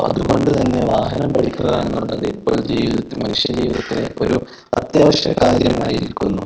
അതുകൊണ്ട് തന്നെ വാഹനം ഓടിക്കുക എന്നുള്ളത് ഒരു ജീവിതത്തിൽ മനുഷ്യ ജീവിതത്തെ അത്യാവശ്യ കാര്യമായിരിക്കുന്നു.